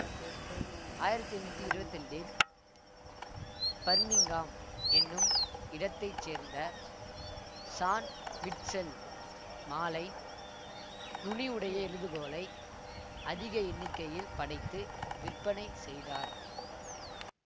ஆயிரத்தி எண்ணூத்தி இருவத்தி இரண்டில் பர்மிங்காம் என்னும் இடத்தை சேர்ந்த சான் மிட்செல் மாழை நுனி உடைய எழுதுகோலை அதிக எண்ணிக்கையில் படைத்து விற்பனை செய்தார்